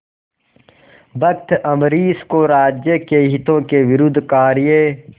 भक्त अम्बरीश को राज्य के हितों के विरुद्ध कार्य